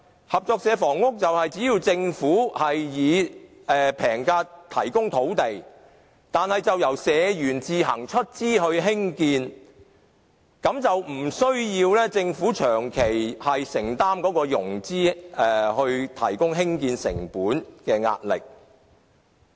合作社房屋是由政府以平價提供土地，再由社員自行出資興建，無須政府長期承擔融資、提供興建成本的壓力。